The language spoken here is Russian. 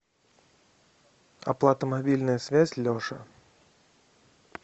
оплата мобильная связь леша